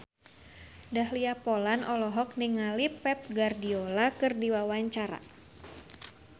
Dahlia Poland olohok ningali Pep Guardiola keur diwawancara